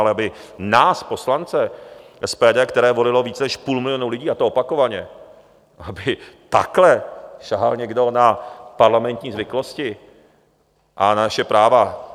Ale aby nás poslance SPD, které volilo víc než půl milionu lidí, a to opakovaně, aby takhle sahal někdo na parlamentní zvyklosti a na naše práva...